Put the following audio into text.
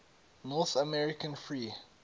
north american free